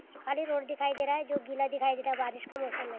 खाली रोड दिखाई दे रहा है जो गीला दिखाई दे रहा है बारिश का मौसम हैं।